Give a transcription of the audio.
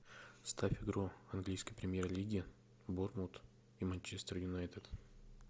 ставь игру английской премьер лиги борнмут и манчестер юнайтед